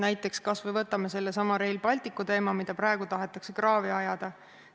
Näiteks kas või võtame sellesama Rail Balticu teema, mida praegu tahetakse kraavi ajada.